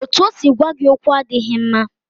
Otú o si gwa gị okwu adịghị mma